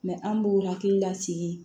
an b'u hakilila sigi